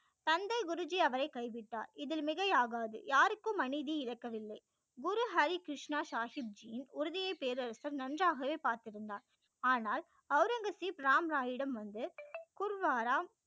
தந்தை குரு ஜி அவரை கைவிட்டார் இது மிகை ஆகாது யாருக்கு மனைவி இறக்க வில்லை குரு ஹரி கிருஷ்ணா சாகிப் ஜியின் உறுதியை பேரரசர் நன்றாகவே பார்த்திருந்தார் ஆனால் ஔரங்கசீப் ராம் ராய் இடம் வந்து குர்வாரா